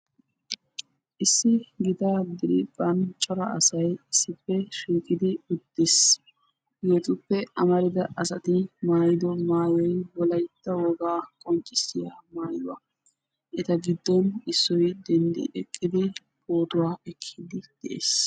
issi yelaga asay diran uttiis hegetupe amarida asay maayido maayoy wolaytta wogaa qonccissiyaaga, eta giddon issoy eqqi denddidi pootuwaa ekkiidi de'ees.